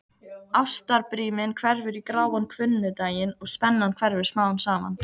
Ástarbríminn hverfur í gráan hvunndaginn og spennan hverfur smám saman.